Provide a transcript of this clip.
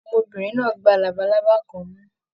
Ọmọbìnrin náà gbà labalábá kan mú.